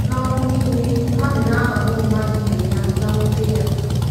N’ọgbọ nile, mmadụ na-akpagbu mmadụ ibe ya na nwute ya